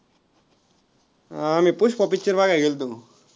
हा आम्ही पुष्पा picture बघायला गेलतो बघ.